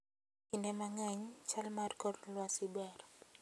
Kinde mang'eny, chal mar kor lwasi ber.